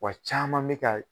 Wa caman be ka